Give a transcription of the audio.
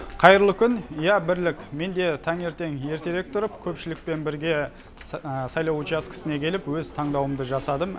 қайырлы күн иә бірлік мен де таңертең ертерек тұрып көпшілікпен бірге сайлау учаскісіне келіп өз таңдауымды жасадым